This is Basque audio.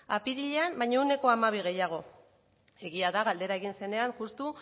apirilean baino ehuneko hamabi gehiago egia da galdera egin zenean justu